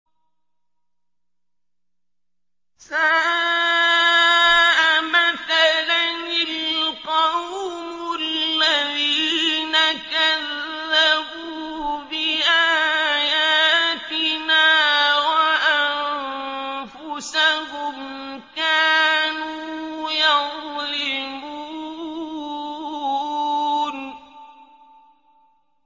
سَاءَ مَثَلًا الْقَوْمُ الَّذِينَ كَذَّبُوا بِآيَاتِنَا وَأَنفُسَهُمْ كَانُوا يَظْلِمُونَ